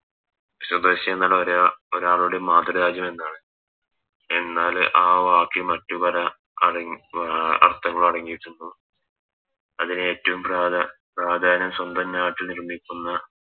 സ്വദേശിയെന്ന ഒര ഒരാളുടെ മാതൃ രാജ്യം എന്നാണ് എന്നാല് ആ വാക്ക് മറ്റു പല അടങ് അഹ് അർഥങ്ങൾ അടങ്ങിയിട്ടുണ്ടോ അതിനെറ്റോം പ്രധാ പ്രാധാന്യം സ്വന്തം നാറ്റ് നിർമ്മിക്കുന്ന